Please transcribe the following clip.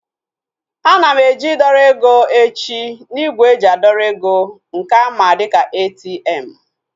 Ana m eje idọrọ ego echi n'ígwè eji adọrọ eg nke a ma dịka ATM